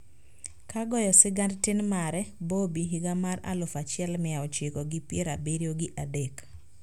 Ka goyo sigand tin mare, "Bobby" higa mar aluf achiel mia ochiko gi pier abiriyo gi adek